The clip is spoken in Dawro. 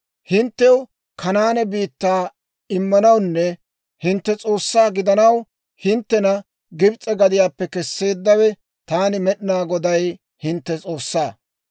Hinttew Kanaane biittaa immanawunne hintte S'oossaa gidanaw, hinttena Gibs'e gadiyaappe kesseeddawe, taani Med'inaa Goday, hintte S'oossaa.